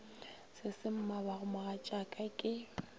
se se mmabago mogatšaka ke